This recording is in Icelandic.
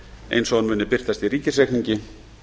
eins og hún muni birtast í ríkisreikningi